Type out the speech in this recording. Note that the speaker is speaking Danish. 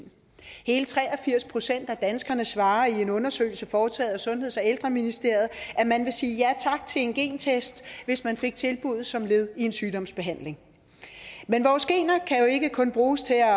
hele tre og firs procent af danskerne svarer i en undersøgelse foretaget af sundheds og ældreministeriet at man ville sige ja tak til en gentest hvis man fik tilbud som led i en sygdomsbehandling men vores gener kan jo ikke kun bruges til at